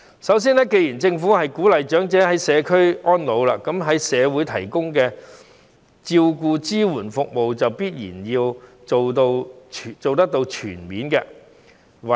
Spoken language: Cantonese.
首先，既然政府鼓勵長者居家安老，那麼在社會提供的照顧支援服務就必然要做得全面。